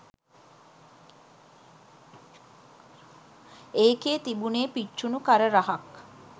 ඒකේ තිබුණේ පිච්චුණු කර රහක්.